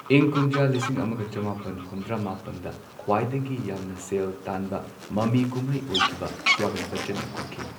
ꯏꯪ ꯀꯨꯝꯖꯥ ꯂꯤꯁꯤꯡ ꯑꯃꯒ ꯆꯃꯥꯄꯟ ꯍꯨꯝꯗ꯭ꯔꯥ ꯃꯥꯄꯟꯗ ꯈ꯭ꯋꯥꯏꯗꯒꯤ ꯌꯥꯝꯅ ꯁꯦꯜ ꯇꯥꯟꯕ ꯃꯃꯤꯀꯨꯝꯍꯩ ꯑꯣꯏꯈꯤꯕ ꯁ꯭ꯋꯥꯒꯠ ꯕꯆꯆꯟꯅ ꯀꯨꯝꯈꯤ꯫